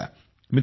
मित्रांनो